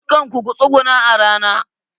Dukanku ku tsuguna a rana!